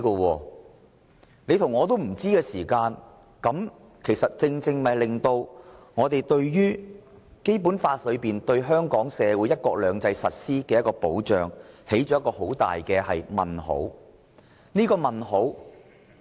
當大家皆不知道時，便正正使《基本法》對香港社會實施"一國兩制"的保障敲起很大的問號。